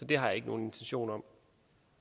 det har jeg ikke nogen intentioner om